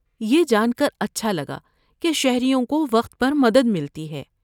یہ جان کر اچھا لگا کہ شہریوں کو وقت پر مدد ملتی ہے۔